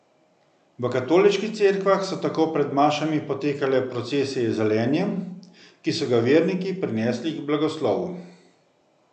V katoliških cerkvah so tako pred mašami potekale procesije z zelenjem, ki so ga verniki prinesli k blagoslovu.